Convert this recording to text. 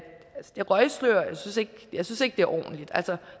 et røgslør jeg synes ikke det er ordentligt